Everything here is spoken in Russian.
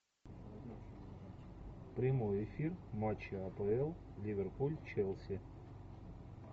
прямой эфир матча апл ливерпуль челси